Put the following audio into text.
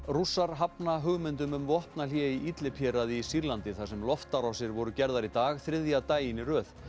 Rússar hafna hugmyndum um vopnahlé í Idlib héraði í Sýrlandi þar sem loftárásir voru gerðar í dag þriðja daginn í röð